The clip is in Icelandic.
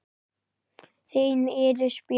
Þín Íris Björk.